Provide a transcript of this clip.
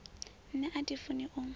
nṋe a thi funi u